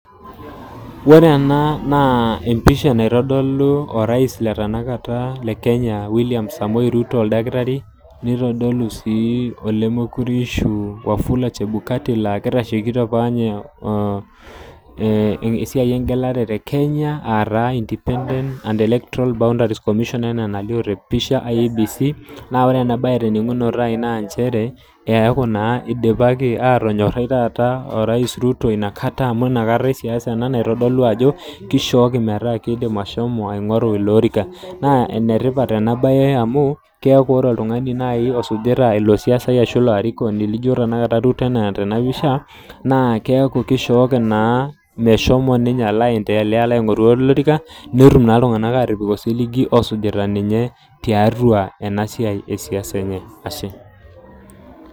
Wore ena naa empisha naitodolu orais le tenakata le Kenya William Samoe Ruto oldakitari, nitodolu sii olemekure ishiu Wafula chebukati laa kitashekito apa ninye esiai engelare tekenya aa taa independent and electrol boundaries and commission enaa enalio tepisha IEBC. Naa wore ena baye teninungoto ai naa nchere, eaku naa idipaki aatonyorai taata orais Ruto ina kata amu inakata esiasa ena naitodolu ajo, kishooki metaa kiidim ashomo aingorru iloorika. Naa enetipat ena baye amu, keaku wore oltungani naai osujita ilo siasai ashu ilo arikoni lijo tenakata Ruto enaa tenapisha, naa keaku kishooki naa meshomo ninye alo aendelea aingorru olorika, netum naa iltunganak aatipik osiligi oosujita ninye tiatua ena siai esiasa enye, Ashe.